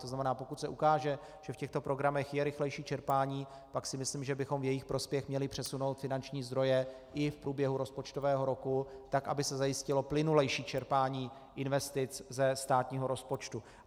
To znamená, pokud se ukáže, že v těchto programech je rychlejší čerpání, pak si myslím, že bychom v jejich prospěch měli přesunout finanční zdroje i v průběhu rozpočtového roku tak, aby se zajistilo plynulejší čerpání investic ze státního rozpočtu.